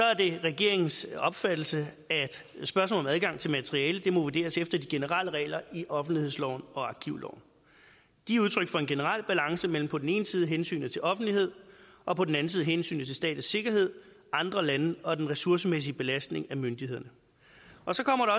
er det regeringens opfattelse at spørgsmålet om adgang til materiale må vurderes efter de generelle regler i offentlighedsloven og arkivloven de er udtryk for en generel balance mellem på den ene side hensynet til offentlighed og på den anden side hensynet til statens sikkerhed andre lande og den ressourcemæssige belastning af myndighederne og så kommer